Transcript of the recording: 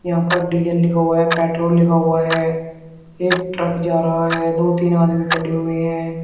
यहां पर डीजल लिखा हुआ है पेट्रोल लिखा हुआ है एक ट्रक जा रहा है दो तीन आदमी खड़े हुए हैं।